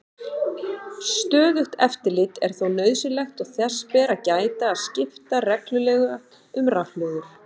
Stöðugt eftirlit er þó nauðsynlegt og þess ber að gæta að skipta reglulega um rafhlöður.